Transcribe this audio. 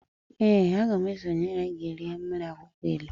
Ee, a ga m esonyere gi rie mmiri akwukwo ilu